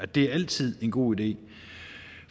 det er altid en god idé